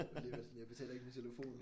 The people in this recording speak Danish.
Alligevel sådan jeg betaler ikke min telefon